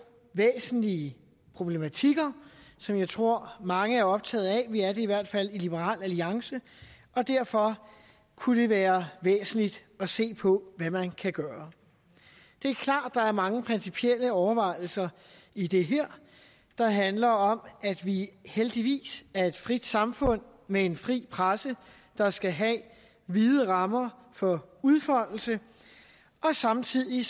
væsentlige problematikker som jeg tror mange er optaget af vi er det i hvert fald i liberal alliance og derfor kunne det være væsentligt at se på hvad man kan gøre det er klart at der er mange principielle overvejelser i det her der handler om at vi heldigvis er et frit samfund med en fri presse der skal have vide rammer for udfoldelse og samtidig